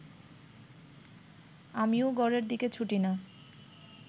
আমি ও ঘরের দিকে ছুটি না